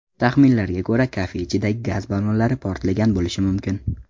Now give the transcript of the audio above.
Taxminlarga ko‘ra, kafe ichidagi gaz ballonlari portlagan bo‘lishi mumkin.